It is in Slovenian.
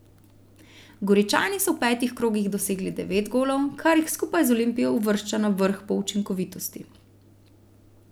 Goričani so v petih krogih dosegli devet golov, kar jih skupaj z Olimpijo uvršča na vrh po učinkovitosti.